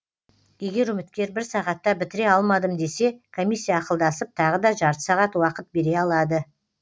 егер үміткер бір сағатта бітіре алмадым десе комиссия ақылдасып тағы да жарты сағат уақыт бере алады